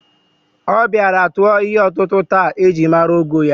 O bịara tụọ ihe ọtụtụ taa e ji mara ogo ya